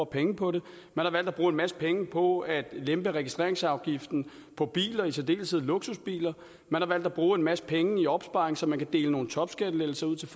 penge på det man har valgt at bruge en masse penge på at lempe registreringsafgiften på biler og i særdeleshed luksusbiler man har valgt at bruge en masse penge på opsparing så man kan dele nogle topskattelettelser ud til